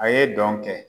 A ye dɔn kɛ